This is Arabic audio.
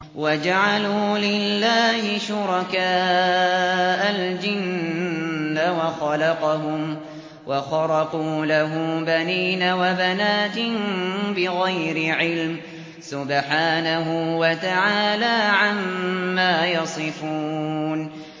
وَجَعَلُوا لِلَّهِ شُرَكَاءَ الْجِنَّ وَخَلَقَهُمْ ۖ وَخَرَقُوا لَهُ بَنِينَ وَبَنَاتٍ بِغَيْرِ عِلْمٍ ۚ سُبْحَانَهُ وَتَعَالَىٰ عَمَّا يَصِفُونَ